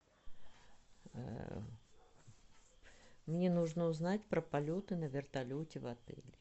мне нужно узнать про полеты на вертолете в отеле